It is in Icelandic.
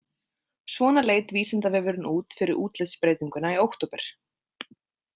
Svona leit Vísindavefurinn út fyrir útlitsbreytinguna í október.